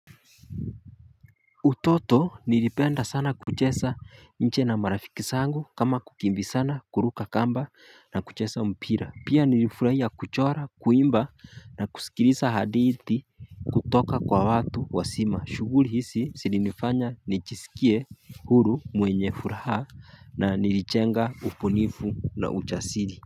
Utoto nilipenda sana kucheza nje na marafiki zangu kama kukimbizana kuruka kamba na kucheza mpira. Pia nilifurahia kuchora, kuimba na kusikiliza hadithi kutoka kwa watu wazima. Shughuli hizi zilinifanya nijisikie huru mwenye furaha na nilijenga ubunifu na ujasiri.